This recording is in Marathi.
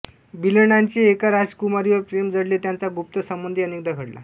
बिल्हणाचे एका राजकुमारीवर प्रेम जडले त्यांचा गुप्त संबंधही अनेकदा घडला